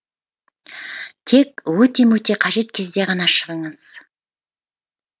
тек өте мөте қажет кезде ғана шығыңыз